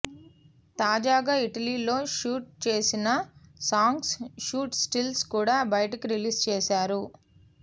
తాజాగా ఇటలీ లో షూట్ చేసిన సాంగ్స్ షూట్ స్టిల్స్ కూడా బయటకు రిలీజ్ చేసారు